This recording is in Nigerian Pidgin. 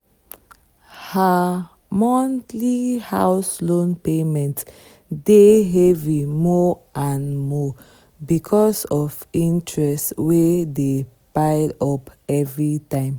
her monthly house loan payment dey heavy more and more because of interest wey dey pile up every time.